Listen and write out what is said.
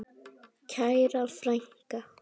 Kæra frænka.